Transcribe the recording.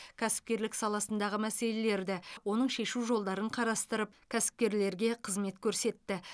кәсіпкерлік саласындағы мәселелерді оның шешу жолдарын қарастырып кәсіпкерлерге қызмет көрсетті